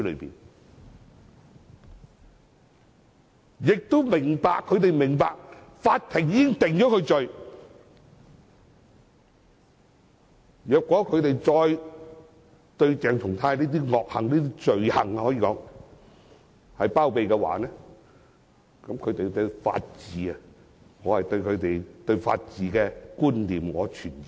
我亦明白他們明白法庭已經將他定罪，如果他們再包庇鄭松泰的惡行或可說是罪行的話，我對他們對法治的觀念存疑。